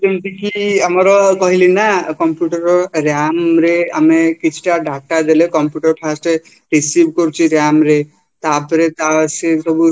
ଯେମିତିକି ଆମର କହିଲିନା computerର ram ରେ ଆମେ କିଛିଟା data ଦେଲେ data computer first receive କରୁଛି ramରେ ତାପରେ ସିଏ ସବୁ